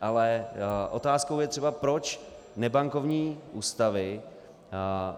Ale otázkou je třeba, proč nebankovní ústavy